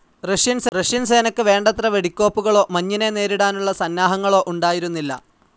Russian സേനക്ക് വേണ്ടത്ര വെടിക്കോപ്പുകളോ മഞ്ഞിനെ നേരിടാനുള്ള സന്നാഹങ്ങളോ ഉണ്ടായിരുന്നില്ല.